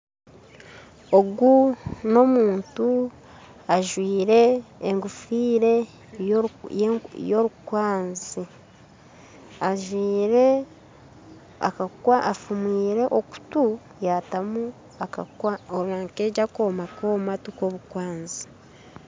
Ogu n'omuntu ajwire engofire yorukwanzi ajwire akakwanzi afumwire okutu yatamu akooma k'omu matu k'obukwamzi